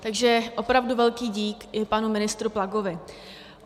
Takže opravdu velký dík i panu ministrovi Plagovi.